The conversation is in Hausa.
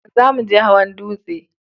Za mu je hawan dutse